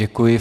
Děkuji.